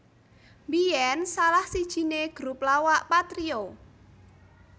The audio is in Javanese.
Mbiyen salah sijine grup lawakPatrio